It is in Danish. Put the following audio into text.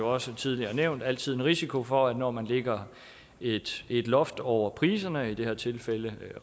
også tidligere nævnt altid en risiko for at det når man lægger et et loft over priserne i det her tilfælde